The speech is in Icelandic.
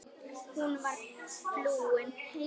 Hún var flúin.